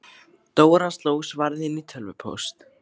Dóra sló svarið inn í tölvupóst.